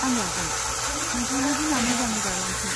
आं लागोन। नोंथांनि दिना मोजाङै बारलांथों।